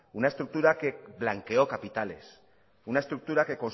una estructura que blanqueó capitales una estructura que